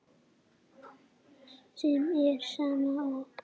sem er sama og